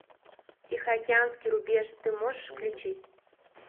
тихоокеанский рубеж ты можешь включить